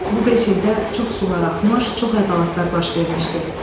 Bu beş ildə çox sular axmış, çox əhvalatlar baş vermişdi.